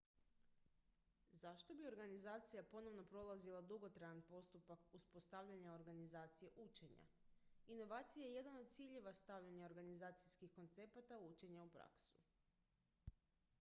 zašto bi organizacija ponovno prolazila dugotrajan postupak uspostavljanja organizacije učenja inovacija je jedan od ciljeva stavljanja organizacijskih koncepata učenja u praksu